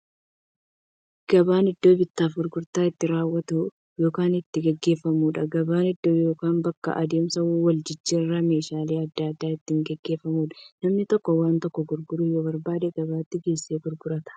Gabaan iddoo bittaaf gurgurtaan itti raawwatu yookiin itti gaggeeffamuudha. Gabaan iddoo yookiin bakka adeemsa waljijjiiraan meeshaalee adda addaa itti gaggeeffamuudha. Namni tokko waan tokko gurguruu yoo barbaade, gabaatti geessee gurgurata.